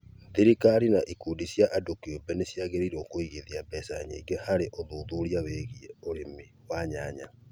Thirikari na ikundi cia andũ kĩũmbe nĩ ciagĩrĩirũo kũigithia mbeca nyingĩ harĩ ũthuthuria wĩgiĩ ũrĩmi wa nyanya.